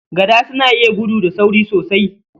Gada suna iya gudu da sauri sosai.